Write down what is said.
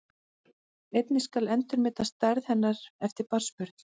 Einnig skal endurmeta stærð hennar eftir barnsburð.